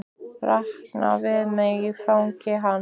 Ranka við mér í fangi hans.